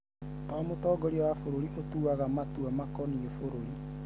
to mũtongoria wa bũrũri ũtuaga matua makoniĩ bũrũri